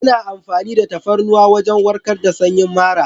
Ana amfani da tafarnuwa wajen warkar da sanyin mara.